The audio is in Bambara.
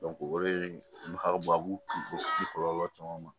o de ye nafaba b'u kunlɔ caman ma